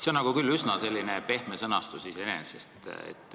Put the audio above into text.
See on küll üsna pehme sõnastus.